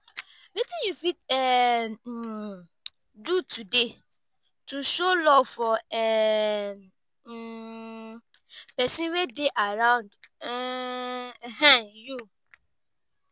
wetin you fit um do today to show love for um pesin wey dey around um you?